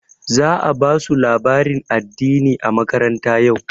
Za a ba su labarin addini a makaranta yau.